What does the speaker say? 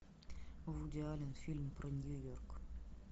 вуди аллен фильм про нью йорк